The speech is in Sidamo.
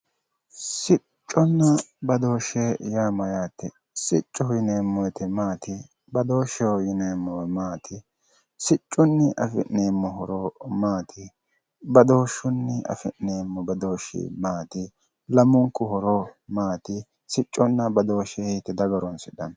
Sicconna badooshshe yaa mayyate? Siccoho yineemmo woyte maati? badooshsheho yineemmo woyte maati ? Siccunni afi'neemmo horo maati badooshshunni afi'neemmo badooshshi maati? Lamunku badooshshi maati sicconna badooshe hiitte daga horoonsidhanno.